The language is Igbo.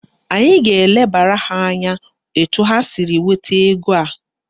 Anyị ga-elebara ha anya etu ha siri nweta ego a